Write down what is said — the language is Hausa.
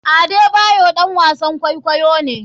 Adebayor ɗan wasn kwaikwayo ne.